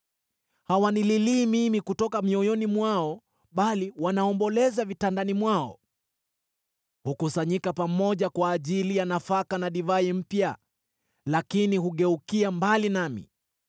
Hawanililii mimi kutoka mioyoni mwao, bali wanaomboleza vitandani mwao. Hukusanyika pamoja kwa ajili ya nafaka na divai mpya, lakini hugeukia mbali nami.